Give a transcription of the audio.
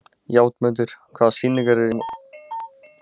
Játmundur, hvaða sýningar eru í leikhúsinu á mánudaginn?